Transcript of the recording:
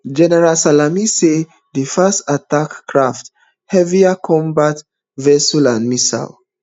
general salami say dis fast attack craft heavier combat vessels and missiles